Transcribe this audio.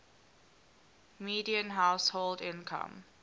median household income